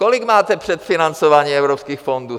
Kolik máte předfinancování evropských fondů?